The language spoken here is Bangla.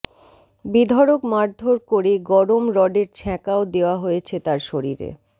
বেধড়ক মারধর করে গরম রডের ছ্যাঁকাও দেওয়া হয়েছে তার শরীরে